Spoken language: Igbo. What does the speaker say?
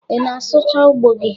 Ị na-asụchaa ugbo gi?